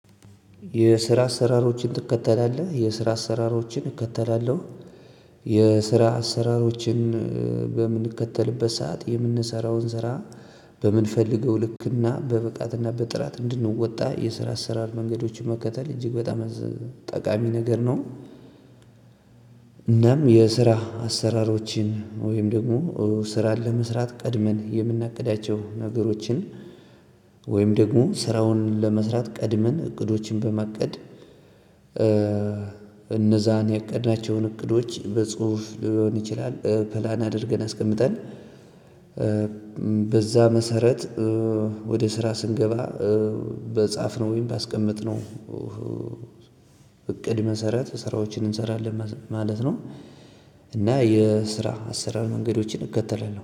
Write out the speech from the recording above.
የስራ አሰራሮችን ትከተላለህ የስራ አሰራሮችን እከተላለሁ የስራ አሰራሮችን በምንከተልበት ሰዓት የምንሰራውን ስራ በምንፈልገው ልክና በብቃትና በጥራት እንድንወጣ የስራ አሰራር መንገዶችን መከተል እጅግ በጣም ጠቃሚ ነገር ነው። እናም የስራ አሰራሮችን ወይም ደግሞ ስራን ለመስራት ቀድመን የምናቅዳቸው ነገሮችን ወይም ደግሞ ስራውን ለመስራት ቀድመን እቅዶችን በማቀድ። እነዛን ያቀድናቸውን እቅዶች በጽሁፍ ሊሆን ይችላል ፕላን አድርገን አስቀምጠን። በዛ መሰረት ወደ ስራ ስንገባ በጻፍነው ወይም ባስቀመጥነው እቅድ መሰረት ስራዎችን እንሰራለን ማለት ነው። እና የስራ አሰራር መንገዶችን እከተላለሁ